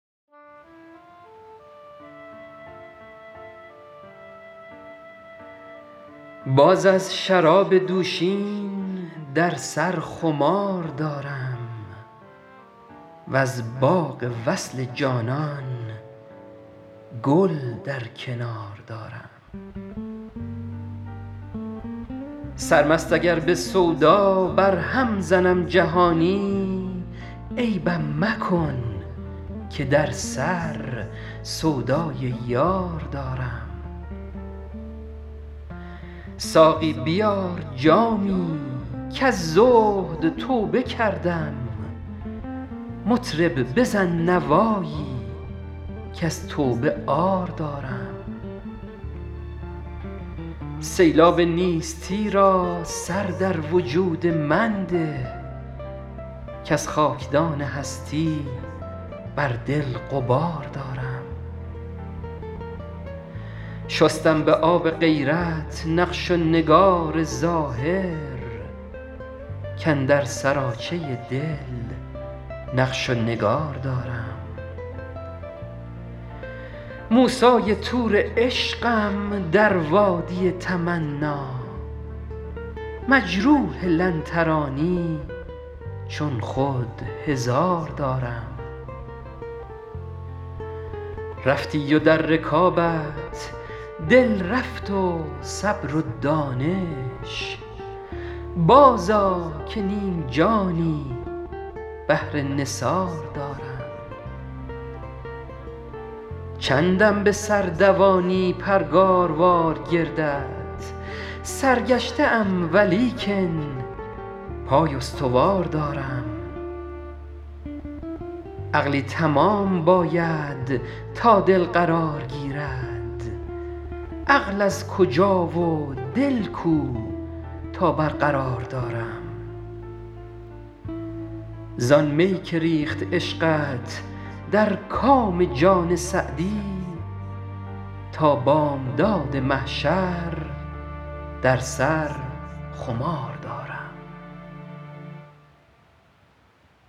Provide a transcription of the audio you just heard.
باز از شراب دوشین در سر خمار دارم وز باغ وصل جانان گل در کنار دارم سرمست اگر به سودا برهم زنم جهانی عیبم مکن که در سر سودای یار دارم ساقی بیار جامی کز زهد توبه کردم مطرب بزن نوایی کز توبه عار دارم سیلاب نیستی را سر در وجود من ده کز خاکدان هستی بر دل غبار دارم شستم به آب غیرت نقش و نگار ظاهر کاندر سراچه دل نقش و نگار دارم موسی طور عشقم در وادی تمنا مجروح لن ترانی چون خود هزار دارم رفتی و در رکابت دل رفت و صبر و دانش بازآ که نیم جانی بهر نثار دارم چندم به سر دوانی پرگاروار گردت سرگشته ام ولیکن پای استوار دارم عقلی تمام باید تا دل قرار گیرد عقل از کجا و دل کو تا برقرار دارم زآن می که ریخت عشقت در کام جان سعدی تا بامداد محشر در سر خمار دارم